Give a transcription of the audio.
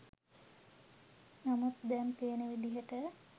නමුත් දැන් පේන විදිහට